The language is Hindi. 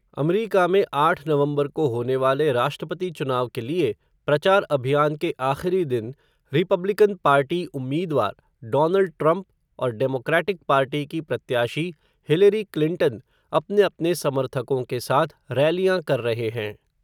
अमरीका में आठ नवंबर को होने वाले राष्ट्रपति चुनाव के लिए, प्रचार अभियान के आख़िरी दिन, रिपब्लिकन पार्टी उम्मीदवार, डोनल्ड ट्रंप और डेमोक्रेटिक पार्टी की प्रत्याशी, हिलेरी क्लिंटन, अपने-अपने समर्थकों के साथ रैलियां कर रहे हैं.